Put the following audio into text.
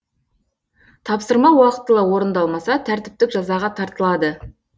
тапсырма уақытылы орындалмаса тәртіптік жазаға тартылады